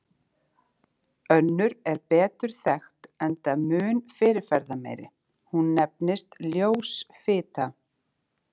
Önnur er betur þekkt enda mun fyrirferðarmeiri, hún nefnist ljós fita.